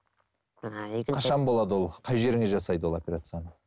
ііі екінші қашан болады ол қай жеріңе жасайды ол операцияны